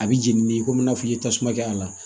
A bɛ jeni n'i ye komi i n'a fɔ i ye tasuma kɛ a la